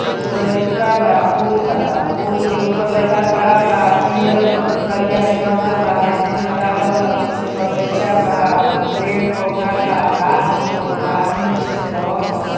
एगो लइका बा पूल बा पूल के ऊपर लइका खड़ा बा पियर करिया से रंगल बा रेलिंग लगावल बा पीछे बगइचा बा पेड पौधा का घास हउवे पानी नीचे से बहत ह |